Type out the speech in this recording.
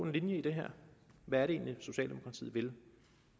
linje i det her hvad er det egentlig socialdemokratiet vil